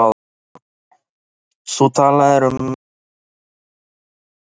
Þú talaðir um það í síðasta bréfi, þú manst.